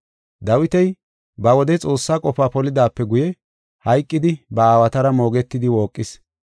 “Dawiti ba wode Xoossaa qofaa polidaape guye hayqidi ba aawatara moogetidi wooqis.